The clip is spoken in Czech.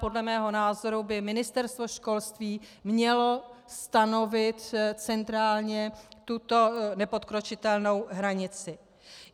Podle mého názoru by Ministerstvo školství mělo stanovit centrálně tuto nepodkročitelnou hranici.